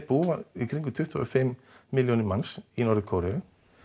búa um tuttugu og fimm milljónir manns í Norður Kóreu